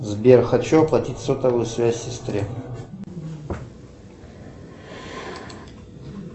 сбер хочу оплатить сотовую связь сестре